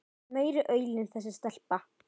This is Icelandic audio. Meiri aulinn þessi stelpa.